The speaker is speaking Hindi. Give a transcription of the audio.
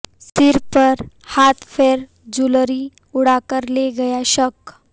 सिर पर हाथ फेर जूलरी उड़ाकर ले गया शख्स